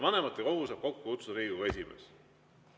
Vanematekogu saab kokku kutsuda Riigikogu esimees.